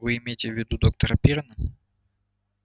вы имеете в виду доктора пиренна